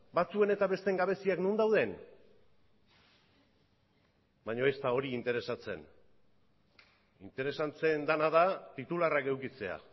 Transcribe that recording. batzuen eta besteen gabeziak non dauden baina ez da hori interesatzen interesatzen dena da titularrak edukitzea